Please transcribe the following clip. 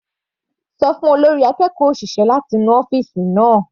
Ṣọ fún olórí akẹ́kọ̀ọ́ òṣìṣẹ́ láti nu ọ́fìsì náà.